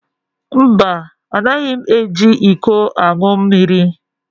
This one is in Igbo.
Mba, Anaghị m eji iko aṅụ mmiri